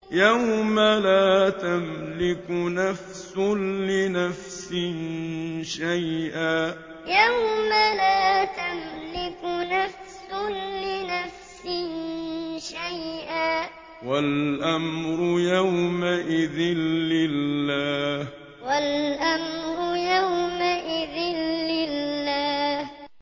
يَوْمَ لَا تَمْلِكُ نَفْسٌ لِّنَفْسٍ شَيْئًا ۖ وَالْأَمْرُ يَوْمَئِذٍ لِّلَّهِ يَوْمَ لَا تَمْلِكُ نَفْسٌ لِّنَفْسٍ شَيْئًا ۖ وَالْأَمْرُ يَوْمَئِذٍ لِّلَّهِ